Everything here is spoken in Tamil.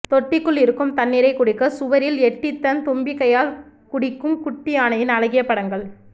தொட்டிக்குள் இருக்கும் தண்ணீரை குடிக்க சுவரில் எட்டி தன் தும்பிக்கையால் குடிக்கும் குட்டி யானையின் அழகிய படங்கள்